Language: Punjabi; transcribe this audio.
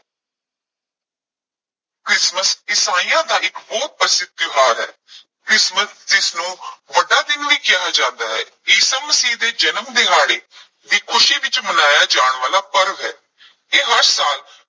ਕ੍ਰਿਸਮਸ ਈਸਾਈਆਂ ਦਾ ਇਕ ਬਹੁਤ ਪ੍ਰਸਿੱਧ ਤਿਉਹਾਰ ਹੈ ਕ੍ਰਿਸਮਸ ਜਿਸ ਨੂੰ ਵੱਡਾ ਦਿਨ ਵੀ ਕਿਹਾ ਜਾਂਦਾ ਹੈ, ਈਸਾ ਮਸੀਹ ਦੇ ਜਨਮ ਦਿਹਾੜੇ ਦੀ ਖੁਸ਼ੀ ਵਿੱਚ ਮਨਾਇਆ ਜਾਣ ਵਾਲਾ ਪਰਵ ਹੈ ਇਹ ਹਰ ਸਾਲ